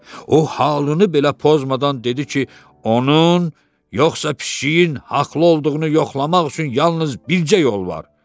O halını belə pozmadan dedi ki, onun, yoxsa pişiyin haqlı olduğunu yoxlamaq üçün yalnız bircə yol var.